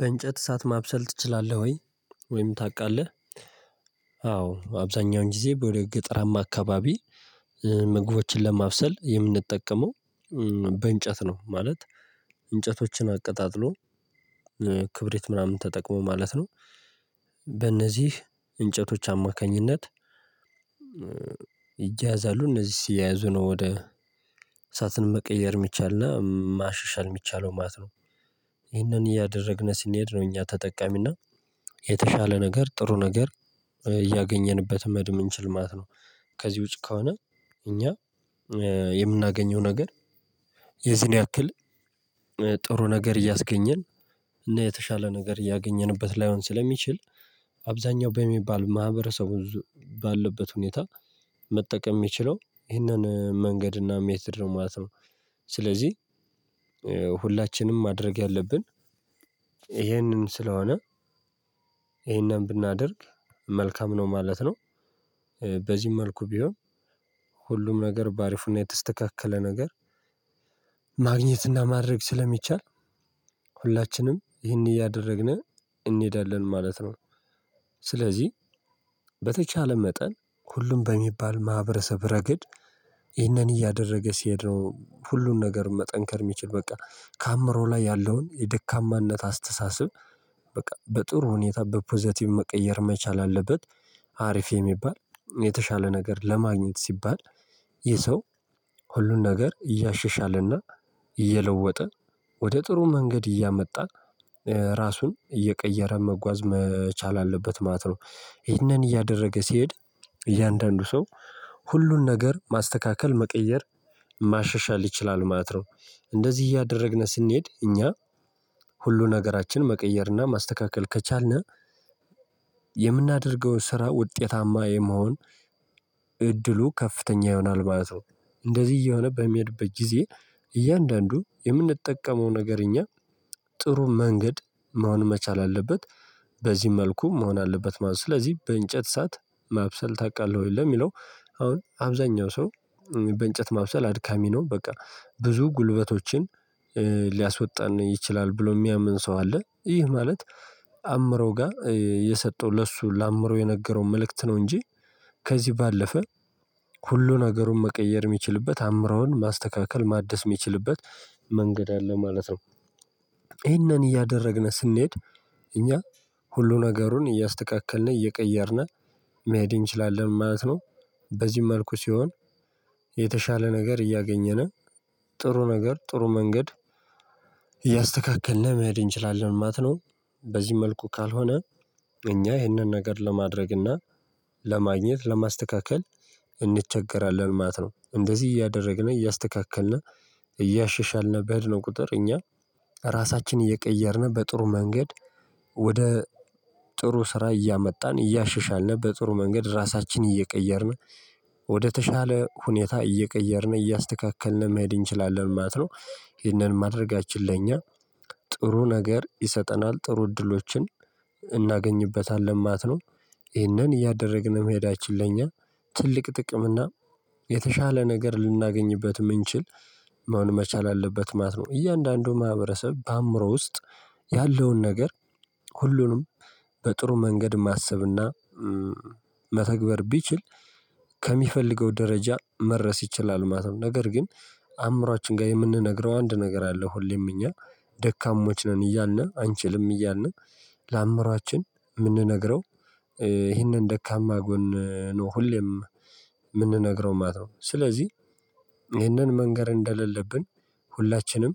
በእንጨት እሳት ማብሰል ትችላለህ ወይ? ወይም ታውቃለህ አዎ አብዛኛውን ጊዜ ወደ ገጠራማ አካባቢ ምግቦችን ለማብሰል የምንጠቀመው። በእንጨት ነው ማለት እንጨቶችን አቀጣጥሎ ክብሪት ምናምን ተጠቅሞ ማለት ነው። በእነዚህ እንጨቶች አማካኝነት። ይያያዛሉ እነዚህ ሲያያዙ ነው ወደ እሳትን መቀየር የሚቻልና ማሻሻል ሚቻለው ማለት ነው። ይህንን እያደረግን ስንሄድ ነው እኛ ተጠቃሚና የተሻለ ነገር ጥሩ ነገር እያገኘንበት መሄድ ምችል ማለት ነው። ከዚህ ውጪ ከሆነ እኛ የምናገኘው ነገር የዚህን ያክል። ጥሩ ነገር እያስገኘን እና የተሻለ ነገር እያገኘንበት ላይሆን ስለሚችል አብዛኛው በሚባል ማህበረሰቡ ባለበት ሁኔታ መጠቀም የሚችለው ይሄንን መንገድና እና ሜትድ ነው ማለት ነው። ስለዚህ ሁላችንም ማድረግ ያለብን ይሄንን ስለሆነ ይሄንን ብናደርግ መልካም ነው ማለት ነው። በዚህም መልኩ ቢሆን ሁሉም ነገር በአሪፉና የተስተካከለ ነገር ማግኘትና ማድረግ ስለሚቻል ሁላችንም ይህንን እያደረግን እንሄዳለን ማለት ነው። ስለዚህ በተቻለ መጠን ሁሉም በሚባል ማህበረሰብ ረገድ ይህንን እያደረገ ሲሄድ ነው ሁሉን ነገር መጠንከር የሚቺል በቃ ከአእምሮ ላይ ያለውን የደካማነት አስተሳሰብ። በቃ በጥሩ ሁኔታ በፖዘቲቭ መቀየር መቻል አለበት። ሀሪፍ የሚባል የተሻለ ነገር ለማግኘት ሲባል ይህ ሰው ሁሉን ነገር እያሸሻልና እየለወጠ ወደ ጥሩ መንገድ እያመጣ ራሱን እየቀየረ መጓዝ መቻል አለበት ማለት ነው። ይህንን እያደረገ ሲሄድ እያንዳንዱ ሰው ሁሉን ነገር ማስተካከል መቀየር ማሻሻል ይችላል ማለት ነው። እንደዚህ እያደረግን ስንሄድ እኛ ሁሉ ነገራችን መቀየርና ማስተካከል ከቻልን የምናደርገውን ስራ ውጤታማ የመሆን እድሉ ከፍተኛ ይሆናል ማለት ነው። እንደዚህ እየሆነ በሚሄድበት ጊዜ እያንዳንዱ የምንጠቀመው ነገር እኛ ጥሩ መንገድ መሆን መቻል አለበት። በዚህ መልኩ መሆን አለበት ማለት ነው። ስለዚህ በእንጨት እሳት ማብሰል ታውቃለህ ወይ? ለሚለው አሁን አብዛኛው ሰው በእንጨት ማብሰል አድካሚ ነው በቃ ብዙ ጉልበቶችን ሊያስወጣን ይችላል ብሎ የሚያምን ሰው አለ ይህ ማለት አእምሮ ጋር የሰጠው ለእሱ ለአእምሮ የነገረው መልእክት ነው። እንጂ ከዚህ ባለፈ ሁሉ ነገሩን መቀየር የሚችልበት አምሮውን ማስተካከል ማደስ የሚችልበት መንገድ አለ ማለት ነው። ይሄንን እያደረግን ስንሄድ እኛ ሁሉ ነገሩን እያስተካከልን እየቀየርነ መሄድ እንችላለን ማለት ነው። በዚህ መልኩ ሲሆን የተሻለ ነገር እያገኘን ጥሩ ነገር ጥሩ መንገድ እያስተካከልን መሄድ እንችላለን ማለት ነው። በዚህ መልኩ ካልሆነ እኛ ይህንን ነገር ለማድረግና ለማግኘት ለማስተካከል እንቸገራለን ማለት ነው። እንደዚህ እያደረግን እያስተካከልን እያሸሻልን በሄድነው ቁጥር እኛ ራሳችን እየቀየርን በጥሩ መንገድ ወደ ጥሩ ስራ እያመጣን እያሸሻልን በጥሩ መንገድ ራሳችንን እየቀየርን ወደተሻለ ሁኔታ እየቀየርን እያስተካከልን መሄድ እንችላለን ማለት ነው። ይህንን ማድረጋችን ለእኛ ጥሩ ነገር ይሰጠናል ጥሩ እድሎችን እናገኝበታለን ማለት ነው። ይህንን እያደረግን የመሄዳችን ለእኛ ትልቅ ጥቅም እና የተሻለ ነገር ልናገኝበት ምንችል መሆን መቻል አለበት ማት ነው። እያንዳንዱ ማህበረሰብ በአእምሮ ውስጥ ያለውን ነገር ሁሉንም በጥሩ መንገድ ማሰብና መተግበር ቢችል ከሚፈልገው ደረጃ መድረስ ይችላል ማለት ነው። ነገር ግን አእምሮአችን ጋር የምንነግረው አንድ ነገር አለ ሁሌም እኛ ደካሞች ነን እያልን አንችልም እያልን ለአምሯችን የምንነግረው ይሄንን ደካማ ጎን ነው ሁሌም የምንነግረው ማለት ነው። ስለዚህ ይህንን መንገር እንደሌለብን ሁላችንም